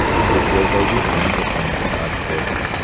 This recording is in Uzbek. Bu futboldagi eng muhim jihatdir.